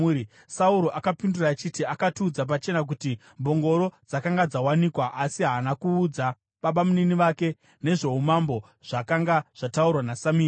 Sauro akapindura achiti, “Akatiudza pachena kuti mbongoro dzakanga dzawanikwa.” Asi haana kuudza babamunini vake nezvoumambo zvakanga zvataurwa naSamueri.